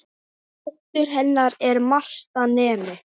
Dóttir hennar er Marta nemi.